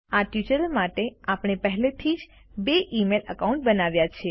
આ ટ્યુટોરીયલ માટે આપણે પહેલેથી જ બે ઇમેઇલ અકાઉન્ટ બનાવ્યા છે